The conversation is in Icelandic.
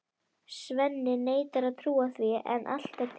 Svenni neitar að trúa því en allt er til.